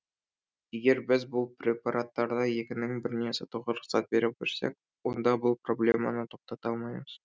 егер біз бұл препараттарды екінің біріне сатуға рұқсат бере берсек онда бұл проблеманы тоқтата алмаймыз